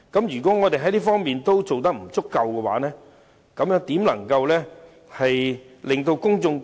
如議員在這方面都做得不足，如何能取信於公眾？